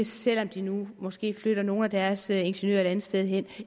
selv om de nu måske flytter nogle af deres ingeniører et andet sted hen